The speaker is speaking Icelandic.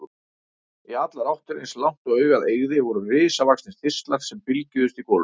Í allar áttir, eins langt og augað eygði, voru risavaxnir þistlar sem bylgjuðust í golunni.